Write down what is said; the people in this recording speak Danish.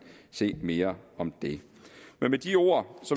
se mere om det med de ord